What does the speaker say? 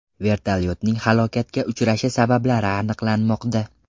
Vertolyotning halokatga uchrashi sabablari aniqlanmoqda.